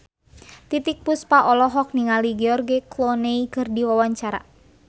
Titiek Puspa olohok ningali George Clooney keur diwawancara